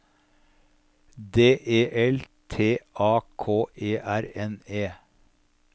D E L T A K E R N E